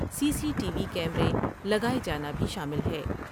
سی C T V کیمرے لگاۓ جانا بھی شامل ہے ۔